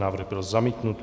Návrh byl zamítnut.